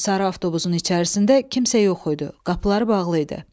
Sarı avtobusun içərisində kimsə yox idi, qapıları bağlı idi.